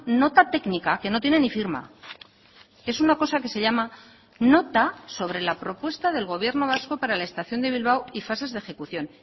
nota técnica que no tiene ni firma es una cosa que se llama nota sobre la propuesta del gobierno vasco para la estación de bilbao y fases de ejecución